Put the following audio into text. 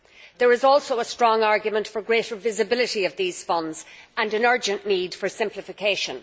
There is also a strong argument for greater visibility of these funds, and an urgent need for simplification.